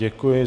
Děkuji.